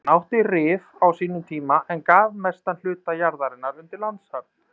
Hann átti Rif á sínum tíma en gaf mestan hluta jarðarinnar undir landshöfn.